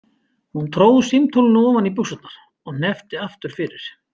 Hún tróð símtólinu ofan í buxurnar og hneppti aftur fyrir.